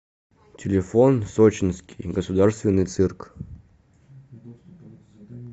телефон сочинский государственный цирк